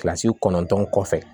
Kilasi kɔnɔntɔn kɔfɛ